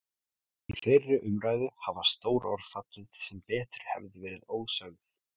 Í þeirri umræðu hafa stór orð fallið sem betur hefðu verið ósögð.